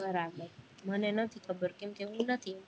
બરાબર મને નથી ખબર કેમ કે હું નથી